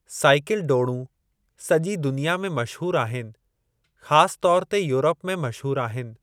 Cycle डोड़ूं सॼी दुनिया में मशहूरु आहिनि, ख़ासि तौर ते यूरप में मशहूरु आहिनि।